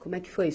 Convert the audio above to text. Como é que foi?